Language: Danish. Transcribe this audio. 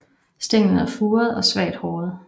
Stænglen er furet og svagt håret